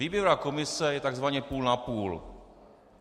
Výběrová komise je tzv. půl na půl.